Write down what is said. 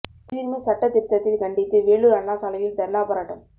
குடியுரிமை சட்டத் திருத்தத்தை கண்டித்து வேலூர் அண்ணா சாலையில் தர்ணா போராட்டம்